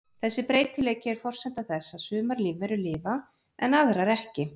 Þessi breytileiki er forsenda þess að sumar lífverur lifa af en aðrar ekki.